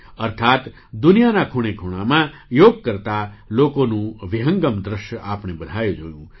અર્થાત્ દુનિયાના ખૂણેખૂણામાં યોગ કરતા લોકોનું વિહંગમ્ દૃશ્ય આપણે બધાએ જોયું